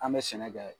An bɛ sɛnɛ kɛ